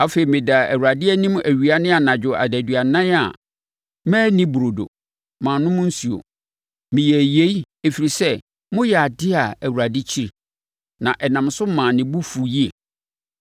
Afei, medaa Awurade anim awia ne anadwo adaduanan a manni burodo. Mannom nsuo. Meyɛɛ yei, ɛfiri sɛ moyɛɛ adeɛ a Awurade kyi, na ɛnam so maa ne bo fuu yie.